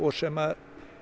sem